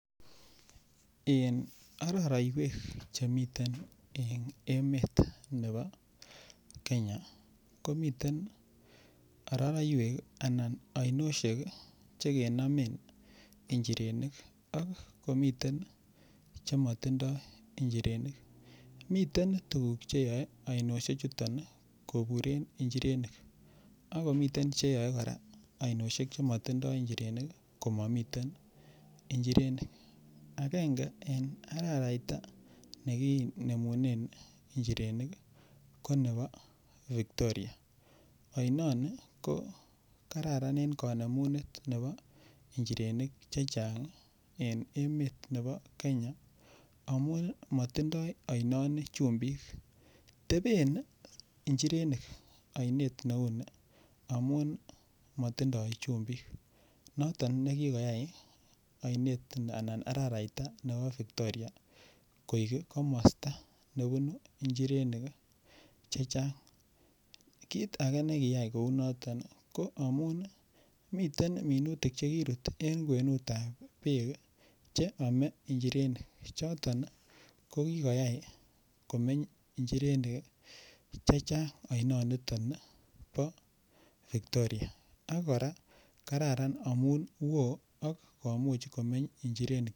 En araraiywek chemiten en emet nebo kenya komiten ororoywek anan oinoshek che kenomen injirenik ak komiten che motindo njirenik. Miten tuguk che yoe oinoshek chuton koburen njirenik akomiten che yoe koraa oinoshek che motindo njirenik komomiten njirenik. Angenge en araraita nekinemunen njirenik ko nebo victoria. Oinoni ko kararan en konemunet nebo njirenik chechang en emet nebo kenya amun motindo oinoni chumbik teben njirenik oinet neuu ni amun motindo chumbik noton ne kigoyay oinet anan araraita nebo victoria koik komosta nebunu njirenik chechang kit age nekiyay kouu noton ko amun miten minutik che kirut en kwenutab beek che oome njirenik choton ko kigoyay komeny njirenik chechang oinoniton bo victoria ak koraa kararan amun woo komuch komeny njirenik